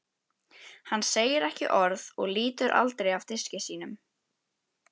Hann segir ekki orð og lítur aldrei af diski sínum.